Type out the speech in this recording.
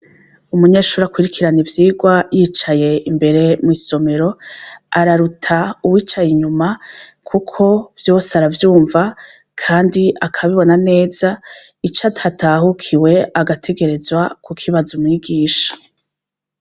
Umunyeshuri akwirikirana ivyigwa yicaye imbere mw'isomero araruta uwicaye inyuma kuko vyose aravyumva kandi akabibona neza ico atatahukiwe agategerezwa kukibazo mwigisha.